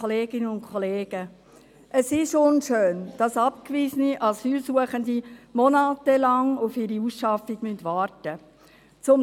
Es ist unschön, dass abgewiesene Asylsuchende monatelang auf ihre Ausschaffung warten müssen.